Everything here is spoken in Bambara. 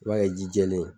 I b'a kɛ ji jɛlen ye